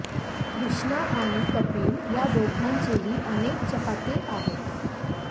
कृष्णा आणि कपिल या दोघांचेही अनेक चाहते आहेत